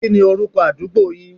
Kí ni orúkọ àdúgbo yin?